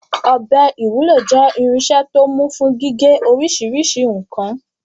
Ọ̀bẹ ìwúlò jẹ́ irinṣẹ́ tó mú fún gígé oríṣiríṣi nǹkan.